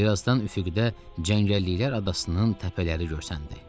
Bir azdan üfüqdə cəngəlliklər adasının təpələri görsəndi.